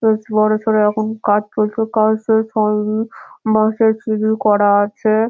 বেশ বড় সড় এইরকম কাজ চলছে কাজ শেষ হয়নি বাঁশের সিঁড়ি করা আছে ।